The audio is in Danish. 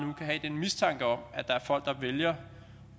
have en mistanke om at der er folk der vælger